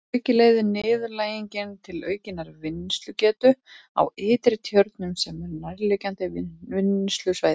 Að auki leiðir niðurdælingin til aukinnar vinnslugetu á Ytri-Tjörnum sem er nærliggjandi vinnslusvæði.